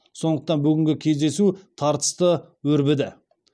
сондықтан бүгінгі кездесу тартысты өрбіді